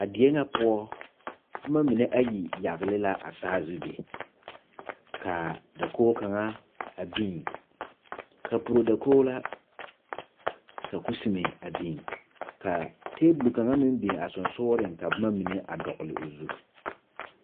A die ŋa poɔ boma mine ayi yagle la a saazu be ka dakogi kaŋa a biŋ kapuro dakogi la ka kusime a biŋ ka tabol kaŋa meŋ biŋ a sensogreŋ ka boma mine a dɔgle o zu.